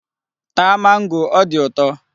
Taa mango, ọ dị ụtọ.